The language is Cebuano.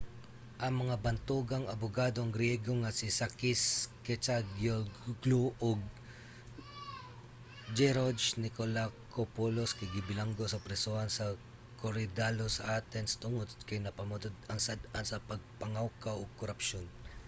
ang mga bantugang abugadong griyego nga si sakis kechagiolglou ug geroge nikolakopoulos kay gibilanggo sa prisohan sa korydallus sa athens tungod kay napamatud-ang sad-an sa pagpangawkaw ug korapsyon